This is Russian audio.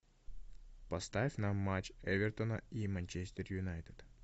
поставь нам матч эвертона и манчестер юнайтед